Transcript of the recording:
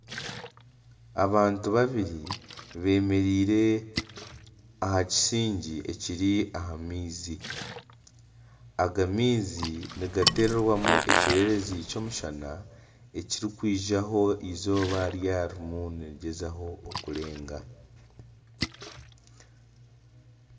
Abantu babiri bemereire aha kisingi ekiri aha maizi. Aga maizi nigaterwamu ekyererezi ky'omushana ekirikwijaho eizooba ryaba ririmu nirigyezaho kurenga.